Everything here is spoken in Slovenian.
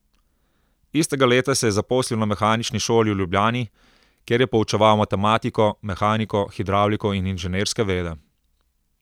Istega leta se je zaposlil na Mehanični šoli v Ljubljani, kjer je poučeval matematiko, mehaniko, hidravliko in inženirske vede.